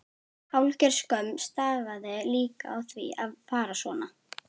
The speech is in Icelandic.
Hálfgerð skömm stafaði líka af því að fara svona.